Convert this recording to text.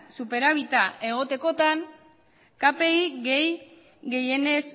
superabita egotekotan kpi gehienez